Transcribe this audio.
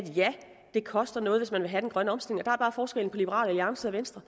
det koster noget hvis man vil have den grønne omstilling og er forskellen på liberal alliance og venstre